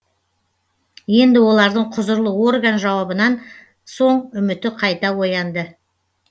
енді олардың құзырлы орган жауабынан соң үміті қайта оянды